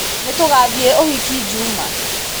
Nĩtũngathie ũhiki juma?